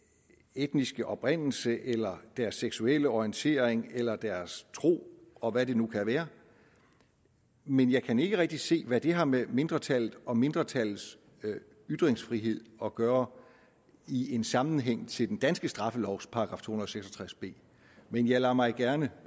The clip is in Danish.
etniske oprindelse eller deres seksuelle orientering eller deres tro og hvad det nu kan være men jeg kan ikke rigtig se hvad det har med mindretallet og mindretallets ytringsfrihed at gøre i en sammenhæng til den danske straffelovs § to hundrede og seks og tres b men jeg lader mig gerne